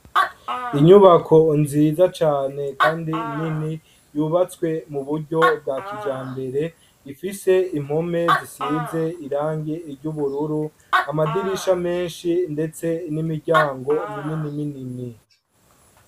Inyubako nziza cane kandi nini yubatswe muburyo bwa kijambere ifise impome zisize irangi ry’ubururu ,amadirisha menshi ndetse n’imiryango minini minini.